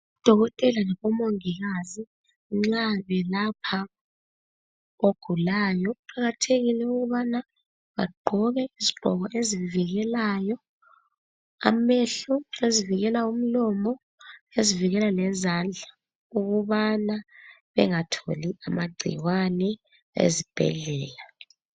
Odokotela labomongikazi nxa belapha ogulayo kuqakathekile ukubana bagqoke izigqoko ezivikelayo amehlo, ezivikela umlomo, lezivikela lezandla ukubana bengatholi amagcikwane ezibhedlela.